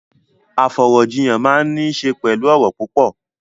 Afọ̀rọ̀jíyàn máa n ni ṣe pẹlú ọrọ̀ púpọ̀.